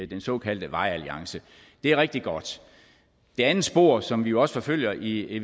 den såkaldte vejalliance det er rigtig godt det andet spor som vi jo også forfølger i